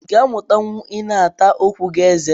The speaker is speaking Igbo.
I ga amutanwu ina ata okwu gi eze